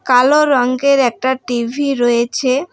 কালো রঙ্গের একটা টি_ভি রয়েছে।